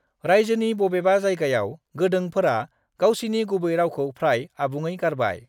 रायजोनि बबेबा जायगायाव, गोंडोंफोरा गावसिनि गुबै रावखौ फ्राय आबुङै गारबाय।